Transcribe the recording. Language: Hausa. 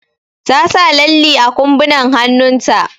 Ta sa lalli a ƙumbunan hannun ta.